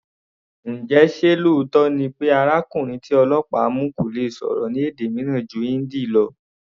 Njẹ ṣé lóòótọ́ ni pé arákùnrin tí ọlọ́pàá mu kò lè sọ̀rọ̀ ní èdè mìíràn ju Hindi lọ?